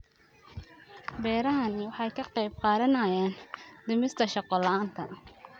Beerahani waxay ka qayb qaadanayaan dhimista shaqo la'aanta.